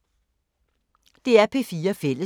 DR P4 Fælles